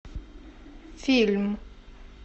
фильм